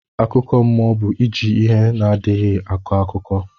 Akụkọ mụọ bu iji ihe adịghi akọ akụkọ